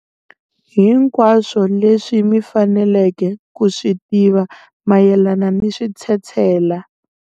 Hinkwaswo leswi mi faneleke ku swi tiva mayelana ni switshetshela